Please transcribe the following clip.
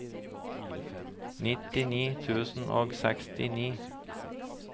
nittini tusen og sekstini